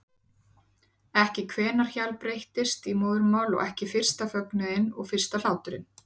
Ekki hvenær hjal breyttist í móðurmál og ekki fyrsta fögnuðinn og fyrsta hláturinn.